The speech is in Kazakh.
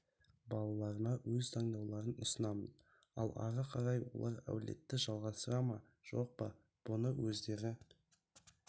балаларыма өз таңдауларын ұсынамын ал ары ғарай олар әулетті жалғастыра ма жоқ па бұны өздері